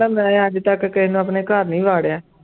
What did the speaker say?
ਮੈਂ ਅੱਜ ਤੱਕ ਕਿਸੇ ਨੂੰ ਆਪਣੇ ਘਰ ਨੀ ਵਾੜਿਆ।